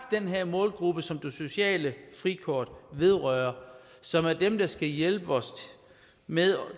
den her målgruppe som det sociale frikort vedrører og som er dem der skal hjælpe os med